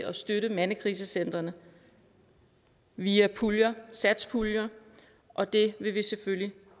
at støtte mandekrisecentrene via puljer satspuljer og det vil vi selvfølgelig